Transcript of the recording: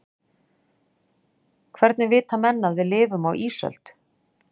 Hvernig vita menn að við lifum á ísöld?